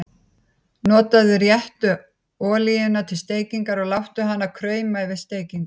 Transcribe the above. Notaðu réttu olíuna til steikingar og láttu hana krauma fyrir steikingu.